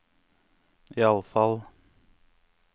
iallfall